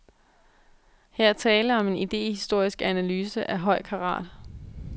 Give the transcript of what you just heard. Her er tale om en idehistorisk analyse af høj karat.